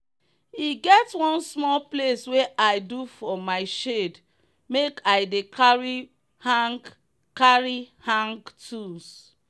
e get one small place wey i do for my shed make i dey carry hang carry hang tools